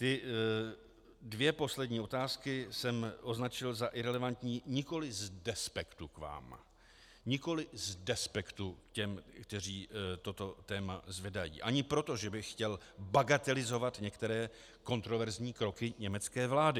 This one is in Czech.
Ty dvě poslední otázky jsem označil za irelevantní nikoli z despektu k vám, nikoli z despektu k těm, kteří toto téma zvedají, ani proto, že bych chtěl bagatelizovat některé kontroverzní kroky německé vlády.